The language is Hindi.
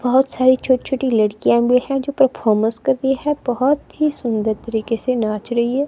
बहुत सारी छोटी-छोटी लड़कियां भी है जो परफॉर्मेंस कर रही है बहुत ही सुंदर तरीके से नाच रही है।